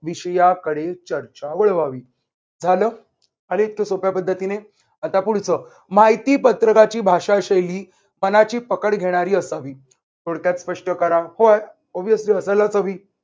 विषयाकडे चर्चा वळवावी. झालं. आल इतक्या सोप्या पद्धतीने. आता पुढच. माहितीपत्रaकाची भाषाशैली मनाची पकड घेणारी असावी थोडक्यात स्पष्ट करा, पण observely असायलाच हवी